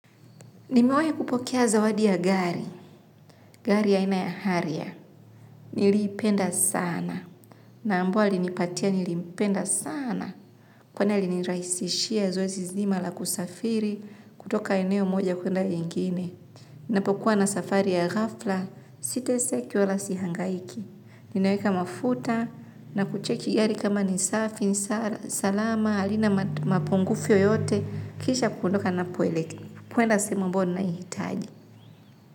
Nimewahi kupokea zawadi ya gari. Gari ya aina ya harrier. Niliipenda sana. Na ambao alinipatia nilimpenda sana. Kwani alinirahisishia zoezi zima la kusafiri kutoka eneo moja kwenda nyingine. Ninapokuwa na safari ya ghafla, siteseki wala sihangaiki. Ninaweka mafuta na kucheki gari kama ni safi, salama, halina mapungufu yoyote, kisha kuondoka ninapoelekea. Kwenda sehemu ambayo ninaihitaji.